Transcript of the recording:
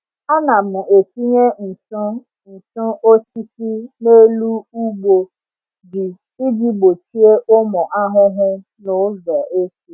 Ana m etinye ntụ ntụ osisi n’elu ugbo ji iji gbochie ụmụ ahụhụ n’ụzọ eke.